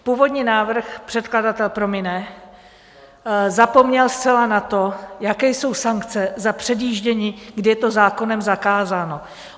Původní návrh - předkladatel promine - zapomněl zcela na to, jaké jsou sankce za předjíždění, kdy je to zákonem zakázáno.